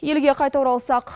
елге қайта оралсақ